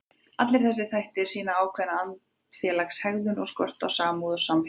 Allir þessir þættir sýna ákveðna andfélagslega hegðun og skort á samúð og samhygð.